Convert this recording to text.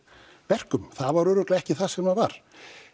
verkum það var örugglega ekki það sem það var